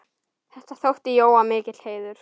Þetta þótti Jóa mikill heiður.